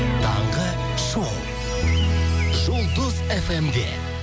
таңғы шоу жұлдыз фм де